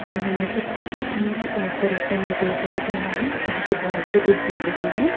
यह चित्र किसी पर्यटन नगरी का लग रहा है जहाँ पे बहुत से लोग घूम रहे हैं।